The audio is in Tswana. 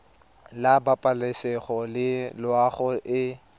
la pabalesego le loago e